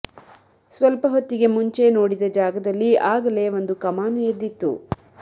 ಸ್ವಲ್ಪ ಹೊತ್ತಿಗೆ ಮುಂಚೆ ನೋಡಿದ ಜಾಗದಲ್ಲಿ ಆಗಲೇ ಒಂದು ಕಮಾನು ಎದ್ದಿತ್ತು